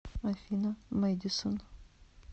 афина мэдисон